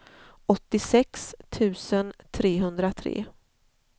åttiosex tusen trehundratre